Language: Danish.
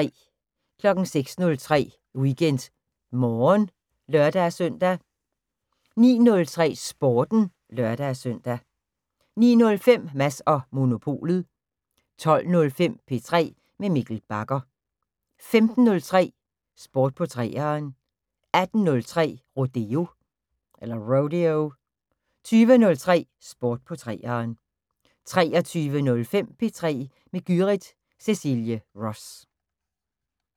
06:03: WeekendMorgen (lør-søn) 09:03: Sporten (lør-søn) 09:05: Mads & Monopolet 12:05: P3 med Mikkel Bagger 15:03: Sport på 3'eren 18:03: Rodeo 20:03: Sport på 3'eren 23:05: P3 med Gyrith Cecilie Ross